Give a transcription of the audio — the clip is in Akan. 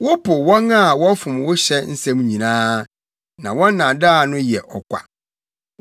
Wopo wɔn a wɔfom wo hyɛ nsɛm nyinaa, na wɔn nnaadaa no yɛ ɔkwa.